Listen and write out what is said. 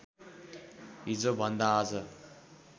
हिजोभन्दा आज